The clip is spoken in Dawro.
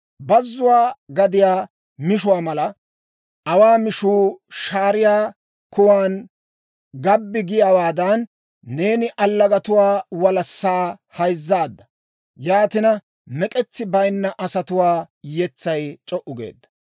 bazzuwaa gadiyaa mishuwaa mala. Awaa mishuu shaariyaa kuwan gabbi giyaawaadan, neeni allagatuwaa walassaa hayzissaadda; yaatina, mek'etsi bayinna asatuwaa yetsay c'o"u geedda.